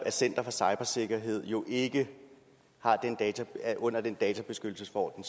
at center for cybersikkerhed jo ikke er under den databeskyttelsesforordning